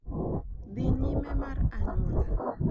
Dhi nyime mar anyuola,